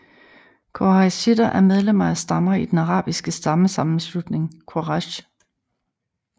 Qurayshitter er medlemmer af stammer i den arabiske stammesammenslutning Quraysh